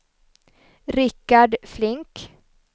Rickard Flink